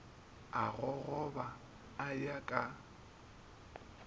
a gogoba a ya ka